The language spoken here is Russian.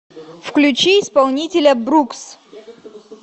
включи исполнителя брукс